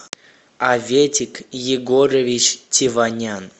аветик егорович теванян